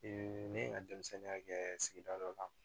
ne ye n ka denmisɛnninya kɛ sigida dɔ la